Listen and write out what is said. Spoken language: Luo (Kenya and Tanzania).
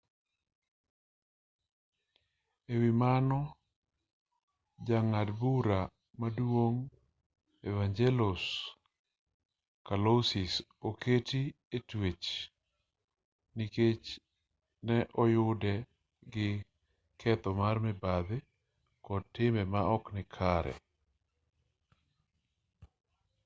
e wi mano jang'ad bura maduong' evangelos kalousis oketi e twech nikech ne oyude gi ketho mar mibadhi kod timbe maok nikare